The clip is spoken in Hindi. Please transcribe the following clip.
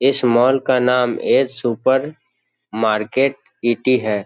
इस मॉल का नाम ऐ सुपरमार्केट है।